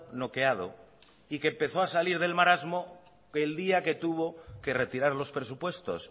noqueado y que empezó a salir del marasmo el día que tuvo que retirar los presupuestos